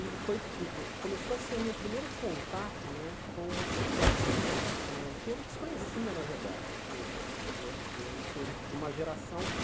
E foi começou a ser o meu primeiro contato né com uma situação eh que eu desconhecia, na verdade, porque eu sou de uma geração que